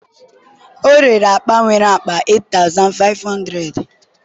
ọ rere akpa nwere akpa 8500